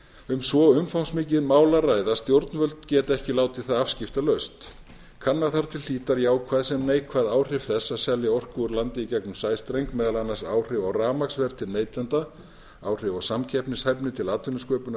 um svo umfangsmikið mál að ræða að stjórnvöld geta ekki látið það afskiptalaust kanna þarf til hlítar jákvæð sem neikvæð áhrif þess að selja orku úr landi í gegnum sæstreng meðal annars áhrif á rafmagnsverð til neytenda og áhrif á samkeppnishæfni til atvinnusköpunar